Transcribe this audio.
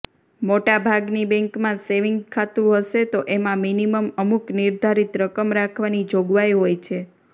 મોટાભાગની બેંકમાં સેવીન્ગ ખાતું હશે તો એમાં મિનિમમ અમુક નિર્ધારિત રકમ રાખવાની જોગવાઈ હોય છે